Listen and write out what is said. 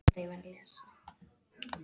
Hann bandaði höndinni í rétta átt.